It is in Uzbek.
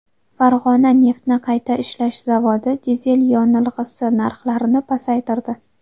Farg‘ona neftni qayta ishlash zavodi dizel yonilg‘isi narxlarini pasaytirdi.